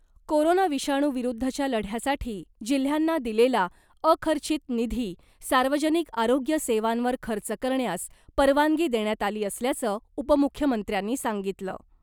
Corona विषाणू विरुद्धच्या लढ्यासाठी जिल्ह्यांना दिलेला अखर्चित निधी , सार्वजनिक आरोग्य सेवांवर खर्च करण्यास परवानगी देण्यात आली असल्याचं उपमुख्यमंत्र्यांनी सांगितलं .